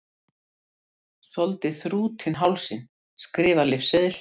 Soldið þrútinn hálsinn, skrifar lyfseðil.